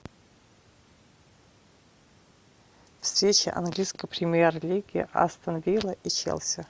встреча английской премьер лиги астон вилла и челси